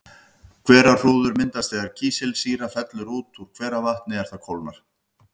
Hverahrúður myndast þegar kísilsýra fellur út úr hveravatni er það kólnar.